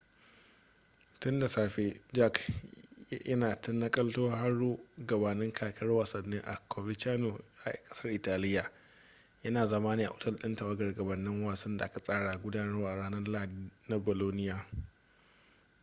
tun da safe jarque yana ta nakaltar horo gabanin kakar wasannin a coverciano a kasar italiya yana zama ne a otel din tawagar gabanin wasan da aka tsara gudanarwa ranar lahadi da bolonia